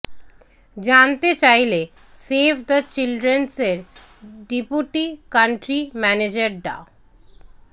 জানতে চাইলে Save the চিলড্রেনের ডেপুটি কান্ট্রি ম্যানেজার ডা